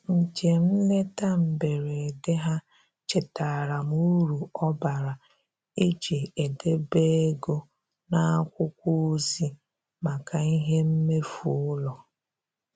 Njem nleta mberede ha chetaara m uru ọ bara iji edebe ego n'akwụkwọ ozi maka ihe mmefu ụlọ.